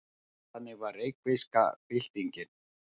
Þannig var reykvíska byltingin.